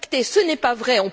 Ce n'est pas vrai